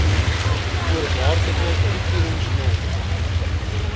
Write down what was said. voorwaardelike toekennings nog